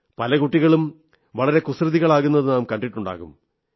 പല കുട്ടികളും വളരെ കുസൃതികളാകുന്നത് നാം കണ്ടിട്ടുണ്ടാകും